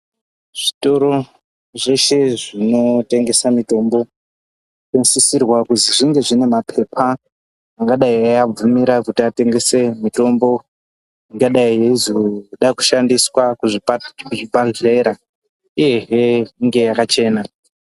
Zvitoro zveshe zvinotengesa mitombo zvinosisirwa kuzi zvinge zvine mapepa angadai eiabvumira kuti atengese mitombo ingadai yeizoda kushandiswa kuzvipahlera uyehe inge yakachena.